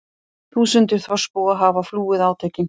Þúsundir þorpsbúa hafa flúið átökin